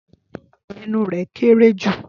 Ẹnu rẹ̀ kéerée jù.